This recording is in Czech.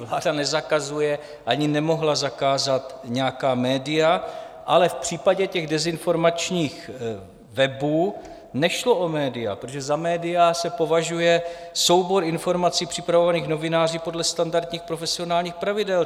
Vláda nezakazuje, ani nemohla zakázat, nějaká média, ale v případě těch dezinformačních webů nešlo o média, protože za média se považuje soubor informací připravovaných novináři podle standardních profesionálních pravidel.